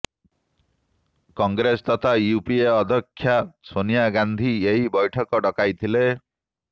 କଂଗ୍ରେସ ତଥା ୟୁପିଏ ଅଧ୍ୟକ୍ଷା ସୋନିଆ ଗାନ୍ଧୀ ଏହି ବୈଠକ ଡକାଇଥିଲେ